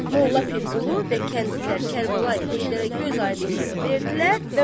Molla Pirqulu və kəndlilər Kərbəlayı Heydərə gözaydınlığı verdilər